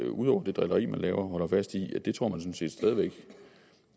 ud over det drilleri man laver stædigt holder fast i at tro